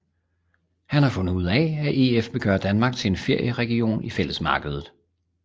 Han har fundet ud af at EF vil gøre Danmark til en ferieregion i Fællesmarkedet